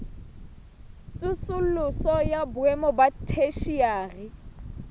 tsosoloso ya boemo ba theshiari